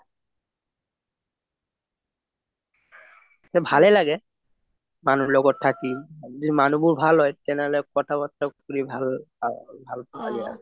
ভালে লাগে মানুহ লগত থাকি যদি মানুহ বোৰ ভাল হয় তেনেহলে কথা বাৰ্তা কৰি ভাল লাগে আৰু